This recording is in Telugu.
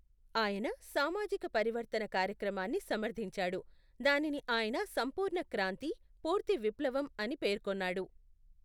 ఆయన సామాజిక పరివర్తన కార్యక్రమాన్ని సమర్ధించాడు, దానిని ఆయన సంపూర్ణ క్రాంతి, పూర్తి విప్లవం అని పేర్కొన్నాడు.